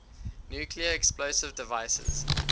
nuclear explosive devices